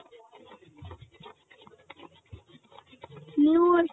ನೀವ್